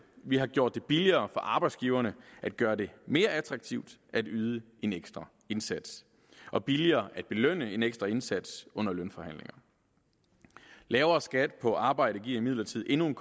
vi har gjort det billigere for arbejdsgiverne at gøre det mere attraktivt at yde en ekstra indsats og billigere at belønne en ekstra indsats under lønforhandlinger lavere skat på arbejde giver imidlertid endnu en